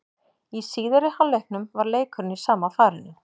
Í síðari hálfleiknum var leikurinn í sama farinu.